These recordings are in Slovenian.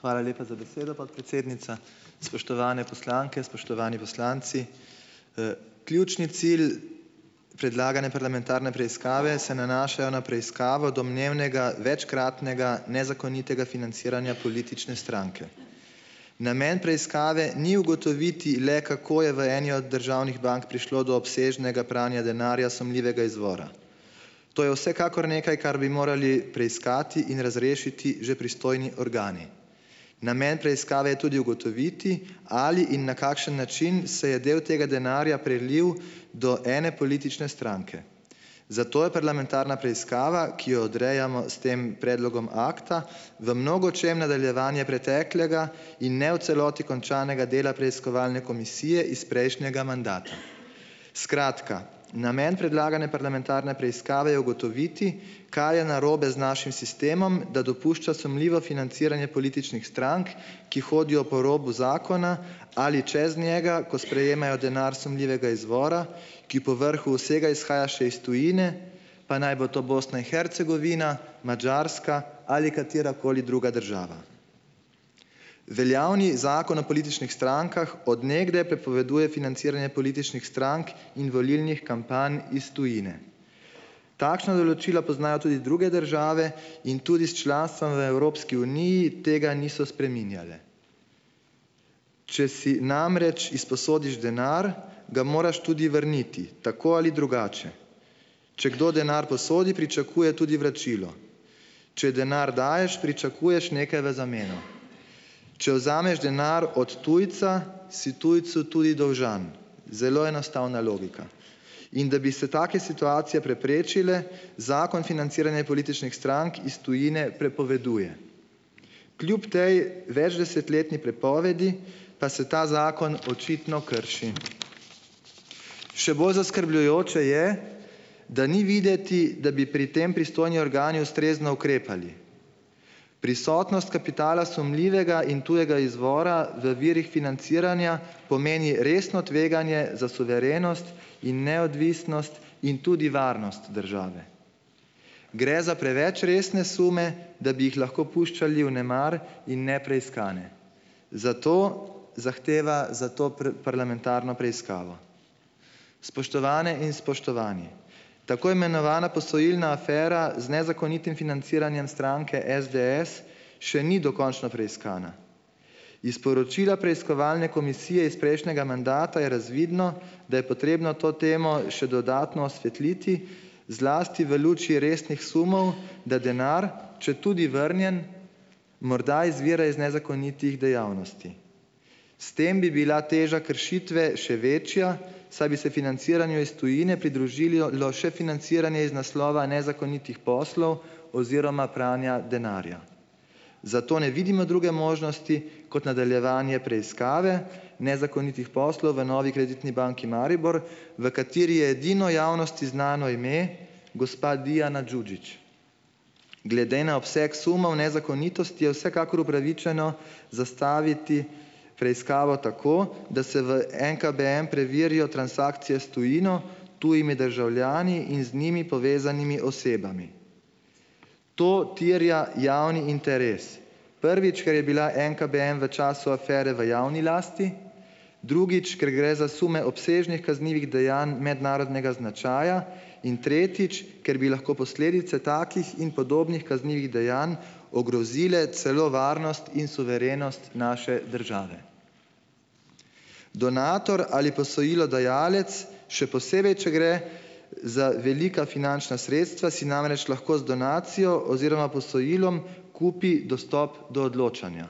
Hvala lepa za besedo, podpredsednica. Spoštovane poslanke, spoštovani poslanci! Ključni cilj predlagane parlamentarne preiskave se nanaša na preiskavo domnevnega večkratnega nezakonitega financiranja politične stranke. Namen preiskave ni ugotoviti le, kako je v eni od državnih bank prišlo do obsežnega pranja denarja sumljivega izvora. To je vsekakor nekaj, kar bi morali preiskati in razrešiti že pristojni organi. Namen preiskave je tudi ugotoviti, ali in na kakšen način se je del tega denarja prelil do ene politične stranke. Zato je parlamentarna preiskava, ki jo odrejamo s tem predlogom akta v mnogočem nadaljevanje preteklega in ne v celoti končanega dela preiskovalne komisije iz prejšnjega mandata. Skratka, namen predlagane parlamentarne preiskave je ugotoviti, kaj je narobe z našim sistemom, da dopušča sumljivo financiranje političnih strank, ki hodijo po robu zakona ali čez njega, ko sprejemajo denar sumljivega izvora, ki po vrhu vsega izhaja še iz tujine, pa naj bo to Bosna in Hercegovina, Madžarska ali katerakoli druga država. Veljavni zakon o političnih strankah od nekdaj prepoveduje financiranje političnih strank in volilnih kampanj iz tujine. Takšna določila poznajo tudi druge države in tudi s članstvom v Evropski uniji tega niso spreminjale. Če si namreč izposodiš denar, ga moraš tudi vrniti, tako ali drugače. Če kdo denar posodi, pričakuje tudi vračilo. Če denar daješ, pričakuješ nekaj v zameno. Če vzameš denar od tujca, si tujcu tudi dolžan. Zelo enostavna logika. In da bi se take situacije preprečile, zakon financiranje političnih strank iz tujine prepoveduje. Kljub tej večdesetletni prepovedi pa se ta zakon očitno krši. Še bolj zaskrbljujoče je, da ni videti, da bi pri tem pristojni organi ustrezno ukrepali. Prisotnost kapitala sumljivega in tujega izvora v virih financiranja pomeni resno tveganje za suverenost in neodvisnost, in tudi varnost države. Gre za preveč resne sume, da bi jih lahko puščali vnemar in nepreiskane. Zato zahteva za to parlamentarno preiskavo. Spoštovane in spoštovani! Tako imenovana posojilna afera z nezakonitim financiranjem stranke SDS še ni dokončno preiskana. Iz poročila preiskovalne komisije iz prejšnjega mandata je razvidno, da je potrebno to temo še dodatno osvetliti zlasti v luči resnih sumov, da denar, četudi vrnjen, morda izvira iz nezakonitih dejavnosti. S tem bi bila teža kršitve še večja, saj bi se financiranju iz tujine pridružilo še financiranje iz naslova nezakonitih poslov oziroma pranja denarja. Zato ne vidimo druge možnosti, kot nadaljevanje preiskave nezakonitih poslov v Novi kreditni banki Maribor, v kateri je edino javnosti znano ime gospa Dijana Đuđić. Glede na obseg sumov nezakonitosti je vsekakor upravičeno zastaviti preiskavo tako, da se v NKBM preverijo transakcije s tujino, tujimi državljani in z njimi povezanimi osebami. To terja javni interes, prvič, ker je bila NKBM v času afere v javni lasti, drugič, ker gre za sume obsežnih kaznivih dejanj mednarodnega značaja, in tretjič, ker bi lahko posledice takih in podobnih kaznivih dejanj ogrozile celo varnost in suverenost naše države. Donator ali posojilodajalec, še posebej če gre za velika finančna sredstva, si namreč lahko z donacijo oziroma posojilom kupi dostop do odločanja.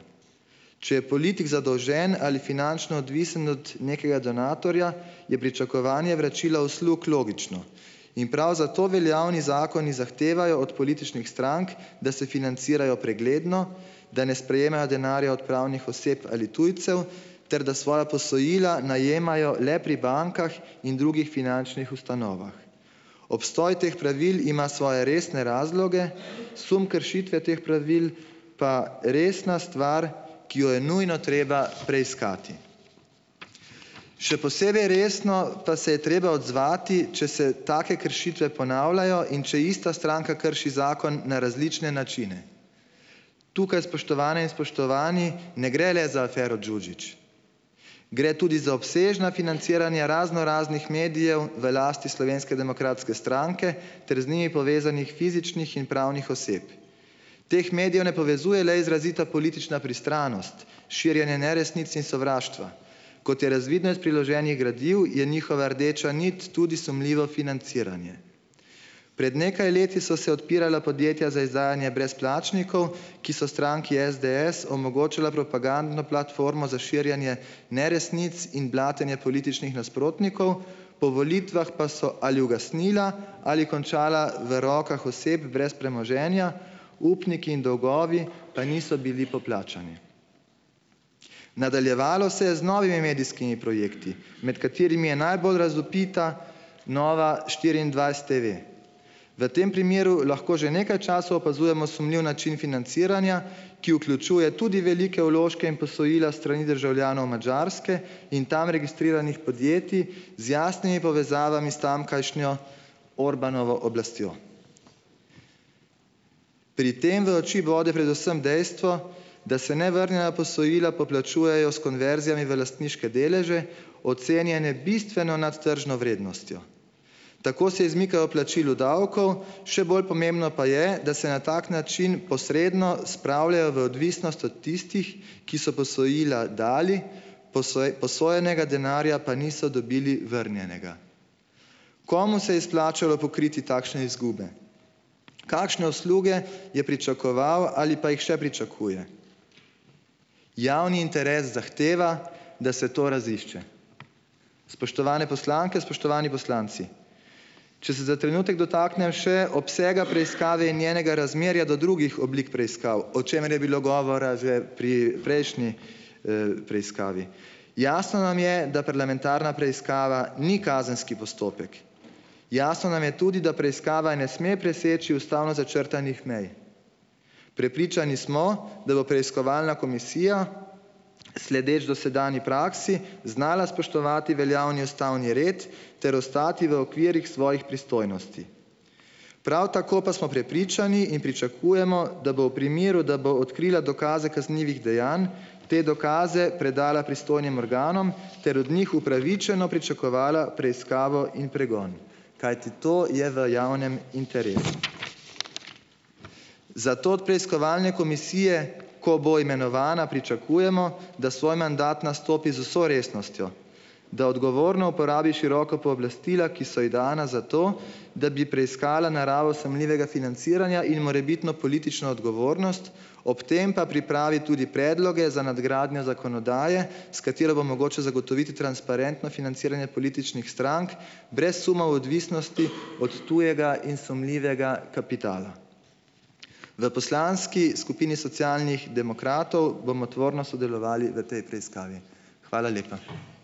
Če je politik zadolžen ali finančno odvisen od nekega donatorja, je pričakovanje vračila uslug logično. In prav zato veljavni zakoni zahtevajo od političnih strank, da se financirajo pregledno, da ne sprejemajo denarja od pravnih oseb ali tujcev ter da svoja posojila najemajo le pri bankah in drugih finančnih ustanovah. Obstoj teh pravil ima svoje resne razloge, sum kršitve teh pravil pa resna stvar, ki jo je nujno treba preiskati. Še posebej resno pa se je treba odzvati, če se take kršitve ponavljajo in če ista stranka krši zakon na različne načine. Tukaj, spoštovane in spoštovani, ne gre le za afero Đuđić, gre tudi za obsežna financiranja raznoraznih medijev v lasti Slovenske demokratske stranke ter z njimi povezanih fizičnih in pravnih oseb. Teh medijev ne povezuje le izrazita politična pristranost, širjenje neresnic in sovraštva, kot je razvidno iz priloženih gradiv, je njihova rdeča nit tudi sumljivo financiranje. Pred nekaj leti so se odpirala podjetja za izdajanje brezplačnikov, ki so stranki SDS omogočala propagandno platformo za širjenje neresnic in blatenje političnih nasprotnikov, po volitvah pa so ali ugasnila ali končala v rokah oseb brez premoženja, upniki in dolgovi pa niso bili poplačani. Nadaljevalo se je z novimi medijskimi projekti, med katerimi je najbolj razvpita NovaštiriindvajsetTV. V tem primeru lahko že nekaj časa opazujemo sumljiv način financiranja, ki vključuje tudi velike vložke in posojila s strani državljanov Madžarske in tam registriranih podjetij z jasnimi povezavami s tamkajšnjo Orbánovo oblastjo. Pri tem v oči bo predvsem dejstvo, da se nevrnjena posojila poplačujejo s konverzijami v lastniške deleže, ocenjene bistveno nad tržno vrednostjo. Tako se izmikajo plačilu davkov, še bolj pomembno pa je, da se na tak način posredno spravljajo v odvisnost od tistih, ki so posojila dali, posojenega denarja pa niso dobili vrnjenega. Komu se je izplačalo pokriti takšne izgube? Kakšne usluge je pričakoval ali pa jih še pričakuje? Javni interes zahteva, da se to razišče. Spoštovane in spoštovani poslanci, poslanke! Če se za trenutek dotaknem še obsega preiskave in njenega razmerja do drugih oblik preiskav, o čemer je bilo govora že pri prejšnji, preiskavi. Jasno nam je, da parlamentarna preiskava ni kazenski postopek. Jasno nam je tudi, da preiskava ne sme preseči ustavno začrtanih mej. Prepričani smo, da bo preiskovalna komisija, sledeč dosedanji praksi, znala spoštovati veljavni ustavni red ter ostati v okvirih svojih pristojnosti. Prav tako pa smo prepričani in pričakujemo, da bo v primeru, da bo odkrila dokaze kaznivih dejanj, te dokaze predala pristojnim organom ter od njih upravičeno pričakovala preiskavo in pregon. Kajti to je v javnem interesu. Zato od preiskovalne komisije - ko bo imenovana - pričakujemo, da svoj mandat nastopi z vso resnostjo. Da odgovorno uporabi široka pooblastila, ki so ji dana zato, da bi preiskala naravo sumljivega financiranja in morebitno politično odgovornost, ob tem pa pripravi tudi predloge za nadgradnjo zakonodaje, s katero bo mogoče zagotoviti transparentno financiranje političnih strank brez sumov odvisnosti od tujega in sumljivega kapitala. V poslanski skupini Socialnih demokratov bomo tvorno sodelovali v tej preiskavi. Hvala lepa.